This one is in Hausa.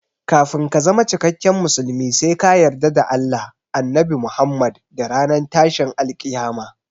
Kafin ka zama cikakken musulmi sai ka yarda da Allah, Annabi Muhammad da ranar tashin alkiyama